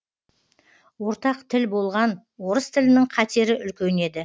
ортақ тіл болған орыс тілінің қатері үлкен еді